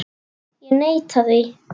Ég neita því.